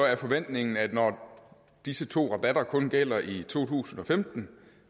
er forventningen at når disse to rabatter kun gælder i to tusind og femten